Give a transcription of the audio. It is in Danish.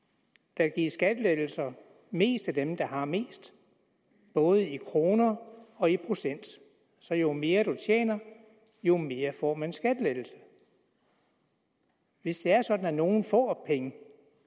der gives skattelettelser mest til dem der har mest både i kroner og i procent så jo mere man tjener jo mere får man i skattelettelse hvis det er sådan at nogle får penge